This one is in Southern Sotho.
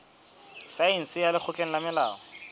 saense ya lekgotleng la molao